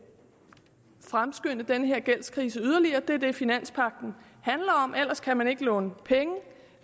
fremskynde den her gældskrise yderligere det er det finanspagten handler om ellers kan man ikke låne penge og